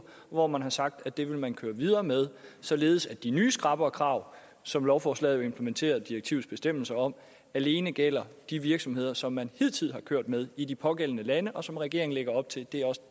hvor man har sagt at det vil man køre videre med således at de nye skrappere krav som lovforslaget jo implementerer direktivets bestemmelser om alene gælder de virksomheder som man hidtil har kørt med i de pågældende lande og som regeringen lægger op til